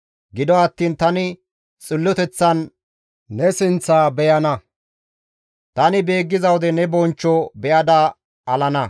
Gido attiin tani xilloteththan ne sinththa beyana; tani beeggiza wode ne bonchcho be7ada alana.